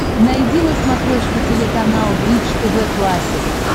найди на смотрешке телеканал бридж тв классик